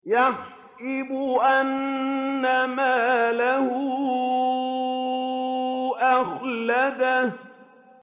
يَحْسَبُ أَنَّ مَالَهُ أَخْلَدَهُ